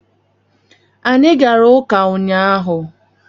Anyị gara ụka ụnyaahụ